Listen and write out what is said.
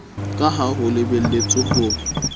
ka ha ho lebeletswe ho